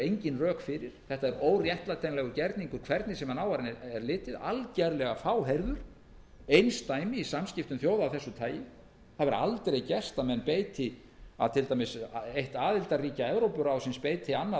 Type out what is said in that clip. engin rök fyrir þetta er óréttlætanlegur gerningur hvernig sem á hann er litið algerlega fáheyrður og einsdæmi í samskiptum þjóða af þessu tagi það hefur aldrei gerst að til dæmis eitt aðildarríkja evrópuráðsins beiti annað